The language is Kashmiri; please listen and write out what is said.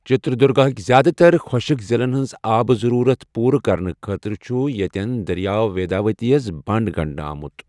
چِتردُرگا ہٕک زیادٕ تر خۄشِک ضِلَن ہنٛز آبہٕ ضروٗرت پورٕ کرنہٕ خٲطرٕ چھُ ییٚتٮ۪ن دریاو ویداوتی یِس بنٛڈ آمُت گَنڈٕنہٕ۔